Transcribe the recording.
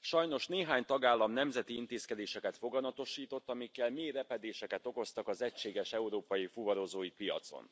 Sajnos néhány tagállam nemzeti intézkedéseket foganatosított, amikkel mély repedéseket okoztak az egységes európai fuvarozói piacon.